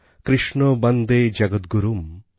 কৃষ্ণ বন্দে জগতগুরুম